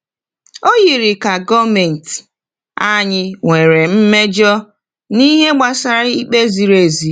O yiri ka gọọmentị anyị nwere mmejọ n’ihe gbasara ikpe ziri ezi.